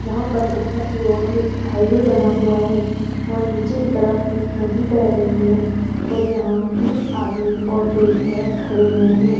यहां पर ऊपर की ओर एक हाईवे बना हुआ है और नीचे की तरफ एक नदी बह रही है और यहां तीन आदमी और एक औरत खड़े हुए हैं।